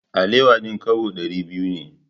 Alewa din kobo dari biyu ne.